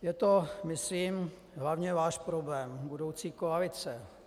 Je to myslím hlavně váš problém, budoucí koalice.